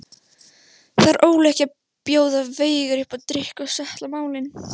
Þarf Óli ekki að bjóða Veigari upp á drykk og settla málin?